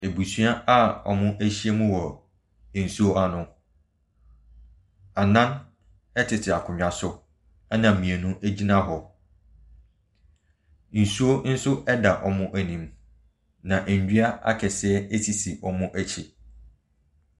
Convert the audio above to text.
Abusua a wɔahyia mu wɔ nsuo ano. Nnan ɛtete akonnwa so ɛna mmienu egyina hɔ. Nsuo nso ɛda wɔn anim na nnua akɛseɛ nso sisi wɔn akyi.